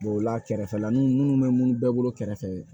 ola kɛrɛfɛlanw minnu bɛ minnu bɛɛ bolo kɛrɛfɛ